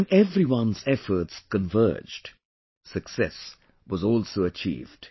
When everyone's efforts converged, success was also achieved